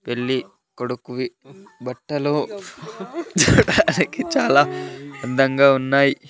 పెళ్లి కొడుకువి బట్టలు చూడానికి చాలా అందంగా ఉన్నాయి.